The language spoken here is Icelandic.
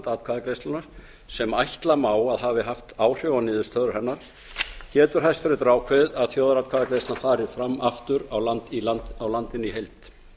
atkvæðagreiðslunnar sem ætla má að hafi haft áhrif á niðurstöður hennar getur hann ákveðið að þjóðaratkvæðagreiðslan fari aftur fram á landinu í heild